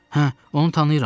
Hə, onu tanıyıram.